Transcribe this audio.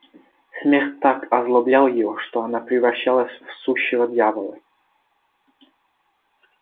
смех так озлоблял его что она превращалась в сущего дьявола